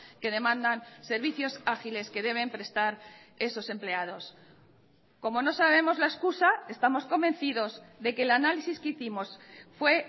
que demandan servicios ágiles que deben prestar esos empleados como no sabemos la excusa estamos convencidos de que el análisis que hicimos fue